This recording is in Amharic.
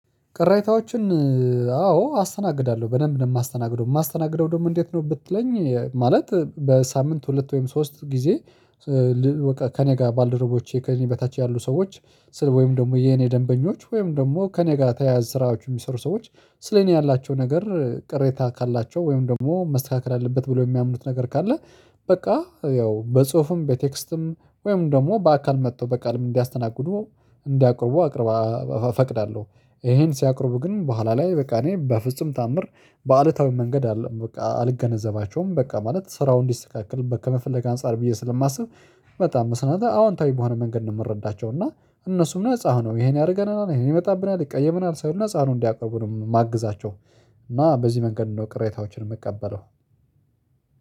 ቅሬታዎችን አዎ አስተናግዳለሁ በደንብ ነው የማስተናግደው የማስተናግደው ደግሞ እንዴት ነው ብትለኝ ማለት በሳምንት ሁለት ወይም ሶስት ጊዜ። ከእኔ ጋር ባልደረቦች ከእኔ በታች ያሉ ሰዎች ሰው ወይም ደግሞ የእኔ ደንበኞች ወይም ደግሞ ከእኔ ጋር ተያያዥ ስራዎች የሚሰሩ ሰዎች ስለ እኔ ያላቸው ነገር ቅሬታ ካላቸው ወይም ደግሞ መስተካከል አለበት ብለው የሚያምኑት ነገር ካለ በቃ ያው በጽሁፍም በቴክስትም ወይም ደግሞ በአካል መጥቶ በቃልም እንዲያስተናግዱ እንዲያቀርቡ አቀርባ እፈቅዳለሁ። ይህን ሲያቀርቡ ግን በኋላ ላይ በቃ እኔ በፍጹም ተአምር በአሉታዊ መንገድ አይደለም በቃ አልገነዘባቸውም በቃ ማለት ስራው እንዲስተካከል ከመፈለግ አንፃር ብዬ ስለማስብ በጣም መስራት አወንታዊ በሆነ መንገድ ነው የምረዳቸው እና እነሱም ነፃ ሆነው ይሄን ያደርገናል ይሄ ይመጣብናል ይቀየመናል ሳይሉ ለጻ ሆነው እንዲያቀርቡ ነው የማግዛቸው። እና በዚህ መንገድ ነው ቅሬታዎችን የምቀበለው።